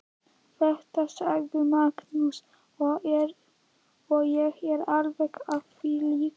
Þetta sagði Magnús og ég er alveg á því líka.